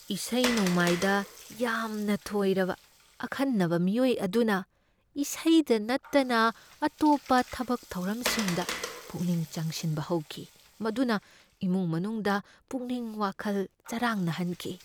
ꯏꯁꯩ ꯅꯣꯡꯃꯥꯏꯗ ꯌꯥꯝꯅ ꯊꯣꯏꯔꯕ ꯑꯈꯟꯅꯕ ꯃꯤꯑꯣꯏ ꯑꯗꯨꯅ ꯏꯁꯩꯗ ꯅꯠꯇꯅ ꯑꯇꯣꯞꯄ ꯊꯕꯛ ꯊꯧꯔꯝꯁꯤꯡꯗ ꯄꯨꯛꯅꯤꯡ ꯆꯪꯁꯤꯟꯕ ꯍꯧꯈꯤ, ꯃꯗꯨꯅ ꯏꯃꯨꯡ ꯃꯅꯨꯡꯗ ꯄꯨꯛꯅꯤꯡ ꯋꯥꯈꯜ ꯆꯔꯥꯡꯅꯍꯟꯈꯤ꯫